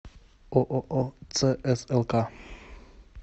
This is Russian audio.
ооо цслк